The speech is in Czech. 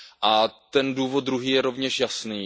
A ten důvod druhý je rovněž jasný.